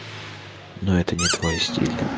но это не твой стиль